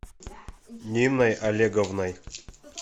ниной олеговной